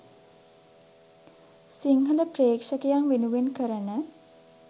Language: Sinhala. සිංහල ප්‍රේක්ෂකයන් වෙනුවෙන් කරන